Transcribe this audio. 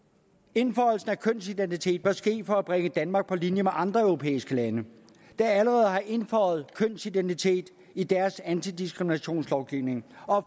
indføjelsen af kønsidentitet bør ske for at bringe danmark på linje med andre europæiske lande der allerede har indføjet kønsidentitet i deres antidiskriminationslovgivning og